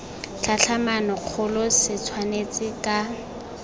tlhatlhamano kgolo se tshwanetse ka